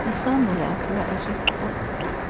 kusandula ukuwa isichotho